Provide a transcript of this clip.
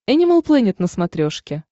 энимал плэнет на смотрешке